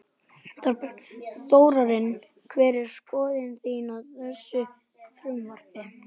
Þorbjörn: Þórarinn hver er skoðun þín á þessu frumvarpi?